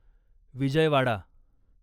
Vijayawada